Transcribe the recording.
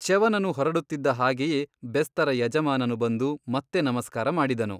ಚ್ಯವನನು ಹೊರಡುತ್ತಿದ್ದ ಹಾಗೆಯೇ ಬೆಸ್ತರ ಯಜಮಾನನು ಬಂದು ಮತ್ತೆ ನಮಸ್ಕಾರ ಮಾಡಿದನು.